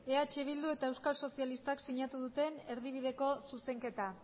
eh bildu eta euskal sozialistak sinatu duten erdibideko zuzenketa